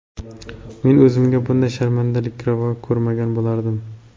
Men o‘zimga bunday sharmandalikni ravo ko‘rmagan bo‘lardim.